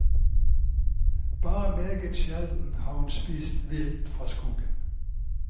Bare meget sjelden har hun spist vilt fra skogen.